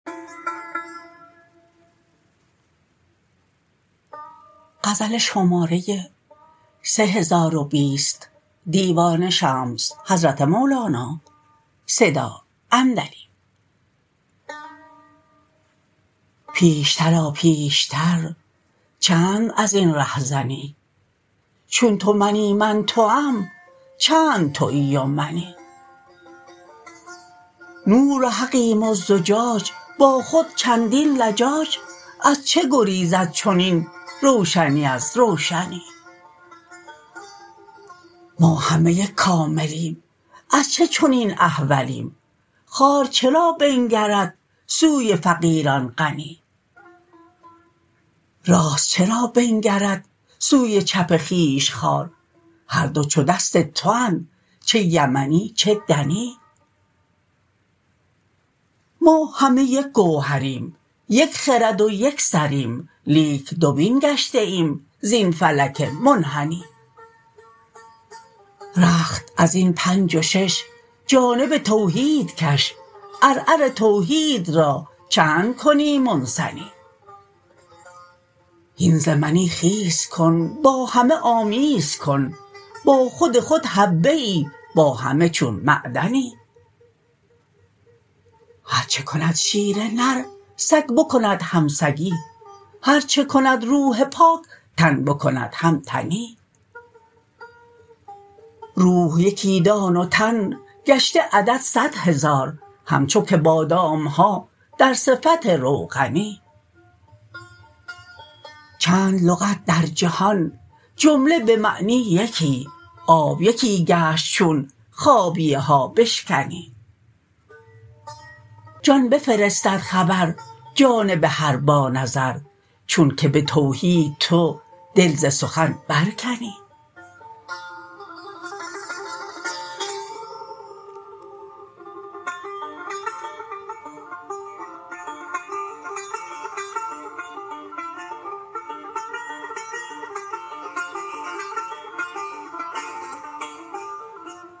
پیشتر آ پیشتر چند از این رهزنی چون تو منی من توام چند توی و منی نور حقیم و زجاج با خود چندین لجاج از چه گریزد چنین روشنی از روشنی ما همه یک کاملیم از چه چنین احولیم خوار چرا بنگرد سوی فقیران غنی راست چرا بنگرد سوی چپ خویش خوار هر دو چو دست تواند چه یمنی چه دنی ما همه یک گوهریم یک خرد و یک سریم لیک دوبین گشته ایم زین فلک منحنی رخت از این پنج و شش جانب توحید کش عرعر توحید را چند کنی منثنی هین ز منی خیز کن با همه آمیز کن با خود خود حبه ای با همه چون معدنی هر چه کند شیر نر سگ بکند هم سگی هر چه کند روح پاک تن بکند هم تنی روح یکی دان و تن گشته عدد صد هزار همچو که بادام ها در صفت روغنی چند لغت در جهان جمله به معنی یکی آب یکی گشت چون خابیه ها بشکنی جان بفرستد خبر جانب هر بانظر چون که به توحید تو دل ز سخن برکنی